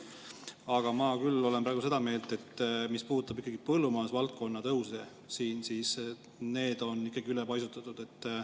Aga ma küll olen praegu seda meelt, et mis puudutab ikkagi põllumajandusvaldkonna tõuse, siis need on ikkagi ülepaisutatud.